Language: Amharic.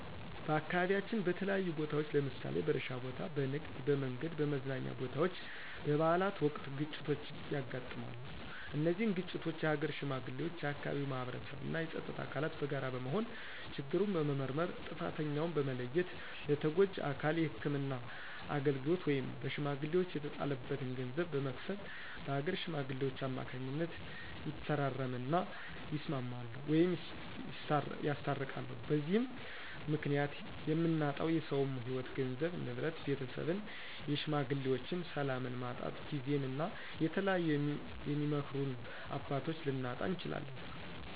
በአካባቢያችን በተለያዩ ቦታዎች ለምሳሌ በእርሻ ቦታ፣ በንግድ፣ በመንገድ፣ በመዝናኛ ቦታወች፣ በበአላት ወቅት ግጭቶች ያጋጥማሉ። እነዚህን ግጭቶች የሀገር ሽማግሌዎች፣ የአካባቢው ማህበረሰብ እና የፀጥታ አካላት በጋራ በመሆን ችግሩን በመመርመር ጥፍተኛውን በመለየት ለተጎጁ አካል የህክምና አገልግሎት ወይም በሽሜግሌወች የተጣለበትን ገንዘብ በመክፈል በአገር ሽማግሌወች ከማካኝነት ይፈራረም እና ይስማማሉ ወይም ያስታርቃሉ። በዚህም ምክኒያት የምናጣው የሰውም ህይዎት ገንዘብ፣ ንብረት፣ ቤተሰብን የሽማግሌዎችን፣ ሰላምን ማጣት ጊዜን እና የተለያዩ የሚመክሩን አባቶች ልናጣ እንችላለን።